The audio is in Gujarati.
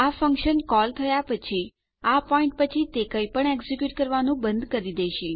આ ફંક્શન કોલ થયા પછી આ પોઈન્ટ પછી તે કંઈપણ એક્ઝેક્યુટ કરવાનું બંધ કરી દેશે